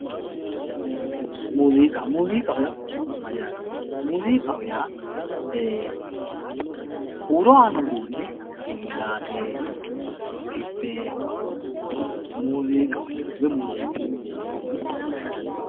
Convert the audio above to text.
Muuzziiqqa, muuzziiqaho yaa mayyate, muuzziiqqaho yaa huuro aanno uduune gingilaate, dibbe muuzziiqqaho yinanni woyi muuzziiqqu uduuneetti yine wosha dandinanni